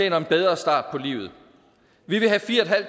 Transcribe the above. en bedre start på livet vi vil have fire